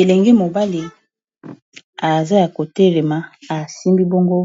elenge mobale aza kotelema asimbi bongo